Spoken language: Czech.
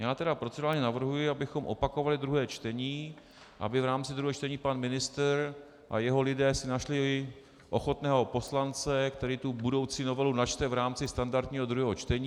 Já tedy procedurálně navrhuji, abychom opakovali druhé čtení, aby v rámci druhého čtení pan ministr a jeho lidé si našli ochotného poslance, který tu budoucí novelu načte v rámci standardního druhého čtení.